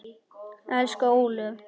Elsku Ólöf.